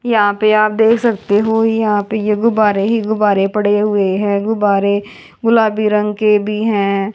यहाँ पे आप देख सकते हो यहाँ पे ये गुब्बारे ही गुब्बारे पड़े हुवे हैं गुब्बारे गुलाबी रंग के भी हैं।